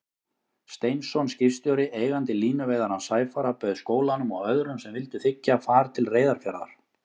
Steinsson skipstjóri, eigandi línuveiðarans Sæfara, bauð skólanum og öðrum sem vildu þiggja, far til Reyðarfjarðar.